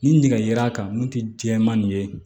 Ni nɛgɛ kan n'o tɛ jɛman nin ye